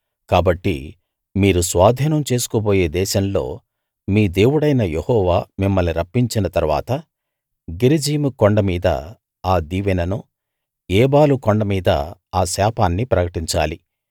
కాబట్టి మీరు స్వాధీనం చేసుకోబోయే దేశంలో మీ దేవుడైన యెహోవా మిమ్మల్ని రప్పించిన తరువాత గెరిజీము కొండ మీద ఆ దీవెననూ ఏబాలు కొండ మీద ఆ శాపాన్నీ ప్రకటించాలి